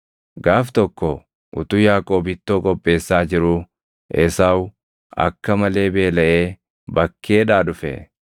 Gaaf tokko utuu Yaaqoob ittoo qopheessaa jiruu Esaawu akka malee beelaʼee bakkeedhaa dhufe.